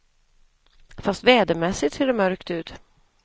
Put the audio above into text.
Fast vädermässigt ser det mörkt ut.